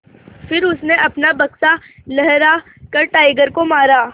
फिर उसने अपना बक्सा लहरा कर टाइगर को मारा